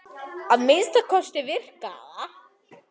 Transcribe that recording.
Að minnsta kosti virkaði það.